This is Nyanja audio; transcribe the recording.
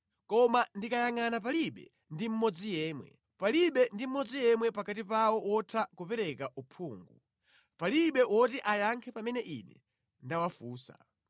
Koma ndikayangʼana palibe ndi mmodzi yemwe, palibe ndi mmodzi yemwe pakati pawo wotha kupereka uphungu, palibe woti ayankhe pamene ine ndawafunsa.